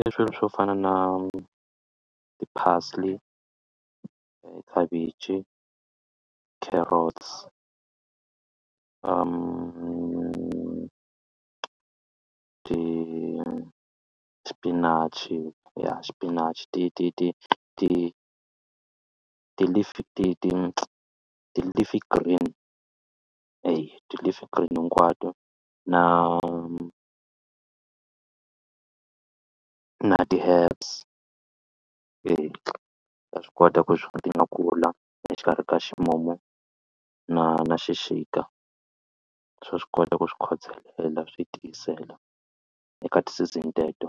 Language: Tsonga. I swilo swo fana na ti-parsley, khavichi, carrots, ti xipinachi ya xipinachi ti ti ti ti ti-leaf ti ti ti-leaf green eya ti-leaf green hinkwato na na ti-herbs eya ta swi kota ku ti nga kula exikarhi ka ximumu na na xixika swa swi kota ku swi khodelela swi tiyisela eka ti-season teto